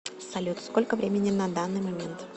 салют сколько времени на данный момент